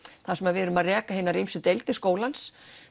þar sem við erum að reka hinar ýmsu deildir skólans